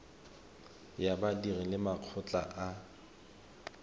ya badiri le makgotla a